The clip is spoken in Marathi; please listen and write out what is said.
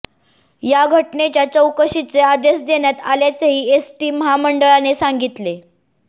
या घटनेच्या चौकशीचे आदेश देण्यात आल्याचेही एसटी महामंडळाने सांगितले